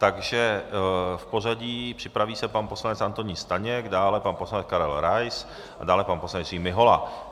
Takže v pořadí - připraví se pan poslanec Antonín Staněk, dále pan poslanec Karel Rais a dále pan poslanec Jiří Mihola.